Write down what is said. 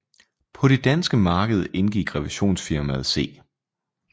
På det danske marked indgik revisionsfirmaet C